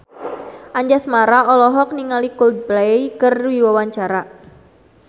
Anjasmara olohok ningali Coldplay keur diwawancara